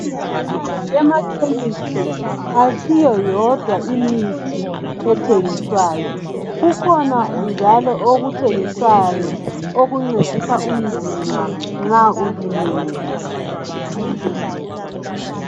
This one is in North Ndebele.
Ema chemist ayisiyo yodwa imithi ethengiswayo kukhona njalo okuthengiswayo okuncedisa umzimba nxa ulimele